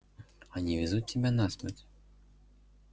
они везут тебя на смерть